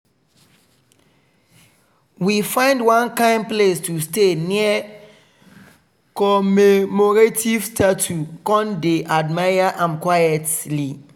we find one kind place to stay near commemorative statue con dey admire am quietly.